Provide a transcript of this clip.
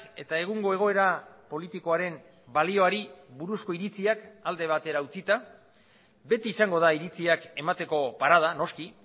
eta egungo egoera politikoaren balioari buruzko iritziak alde batera utzita beti izango da iritziak emateko parada noski